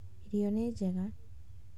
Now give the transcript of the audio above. Irio nĩ njega